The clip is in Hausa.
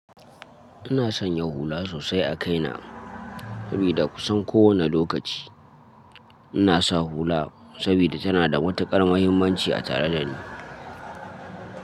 Ina sanya hula sosai a kaina sabida kusan kowani lokaci ina sa hula sabida tana da matu ƙar muhimmanci a tare da ni.